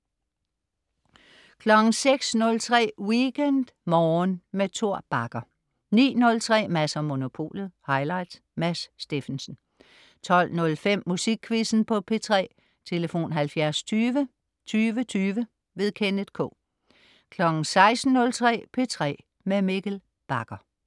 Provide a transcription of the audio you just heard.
06.03 WeekendMorgen med Tor Bagger 09.03 Mads & Monopolet. Highlights. Mads Steffensen 12.05 Musikquizzen på P3. Tlf.: 70 20 20 20. Kenneth K 16.03 P3 med Mikkel Bagger